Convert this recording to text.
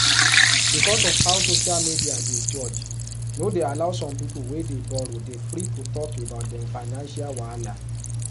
because of how social media dey judge no dey allow some people wey dey borrow dey free to talk about dem financial wahala